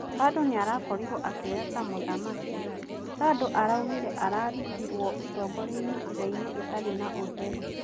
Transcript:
Bado niarakorirwo akioya ta muthamaki tandũ araugire arutirwo utogoriaini njiraini itari na utheri.